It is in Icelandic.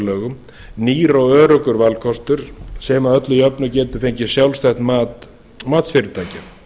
lögum nýr og öruggur valkostur sem að öllu jöfnu getur fengið sjálfstætt mat matsfyrirtækja